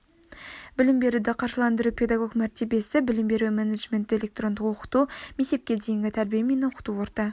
білім беруді қаржыландыру педагог мәртебесі білім беру менеджменті электрондық оқыту мектепке дейінгі тәрбие мен оқыту орта